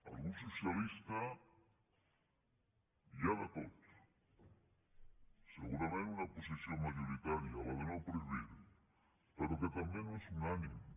al grup socialistes hi ha de tot segurament una posició majoritària la de no prohibir però que tampoc no és unànime